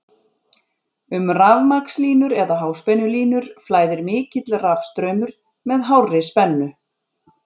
Um rafmagnslínur eða háspennulínur flæðir mikill rafstraumur með hárri spennu.